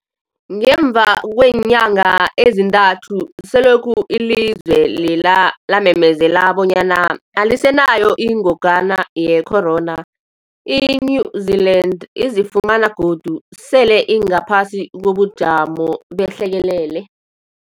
Ngemva kweenyanga ezintathu selokhu ilizwe lela lamemezela bonyana alisenayo ingogwana ye-corona, i-New-Zealand izifumana godu sele ingaphasi kobujamo behlekelele.